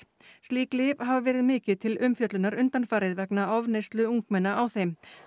slík lyf hafa verið mikið til umfjöllunar undanfarið vegna ofneyslu ungmenna á þeim